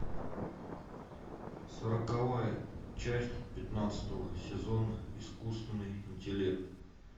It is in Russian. сороковая часть пятнадцатого сезона искусственный интеллект